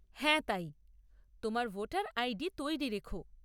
হ্যাঁ, তাই। তোমার ভোটার আইডি তৈরি রেখ।